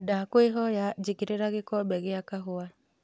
ndakwīhoya jīkīrīra gīkombe gīa kahūwa